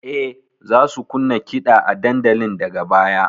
E, za su kunna kiɗa a dandalin daga baya.